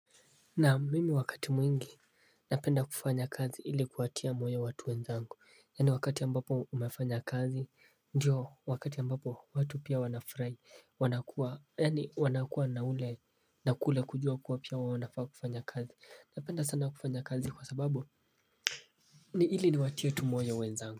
Naam mimi wakati mwingi napenda kufanya kazi ili kuwatia moyo watu wenzangu Yani wakati ambapo umafanya kazi ndio wakati ambapo watu pia wana furai wanakua yani wanakua na ule nakule kujua kuwa pia wanafaa kufanya kazi Napenda sana kufanya kazi kwa sababu ni ili ni watie tumoyo wenzangu.